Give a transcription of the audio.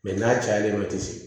Mɛ n'a cayalen don a tɛ se